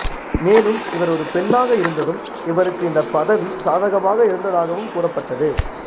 மேலும் இவர் ஒரு பெண்ணாக இருந்ததும் இவருக்கு இந்த பதவி சாதகமாக இருந்ததாகவும் கூறப்பட்டது